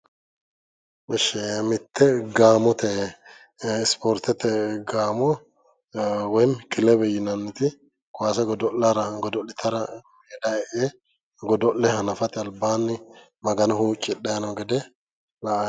ishi mitte ispoortete gaamo ee woyim kilebe yinanniti kaase godo'litanni kaase godo'litara meeda e'e godo'le hanafate albaanni magano huucidhanni noo gede la'anni noommo'